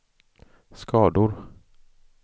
skador